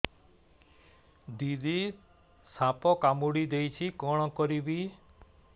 ଦିଦି ସାପ କାମୁଡି ଦେଇଛି କଣ କରିବି